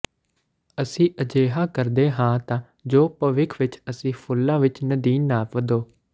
ਅਸੀਂ ਅਜਿਹਾ ਕਰਦੇ ਹਾਂ ਤਾਂ ਜੋ ਭਵਿੱਖ ਵਿਚ ਅਸੀਂ ਫੁੱਲਾਂ ਵਿਚ ਨਦੀਨ ਨਾ ਵਧੋ